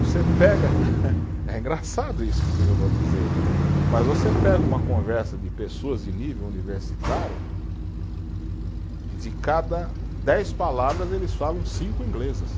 Você pega, é engraçado isso que eu vou dizer, mas você pega uma conversa de pessoas de nível universitário e de cada dez palavras eles falam cinco inglesas.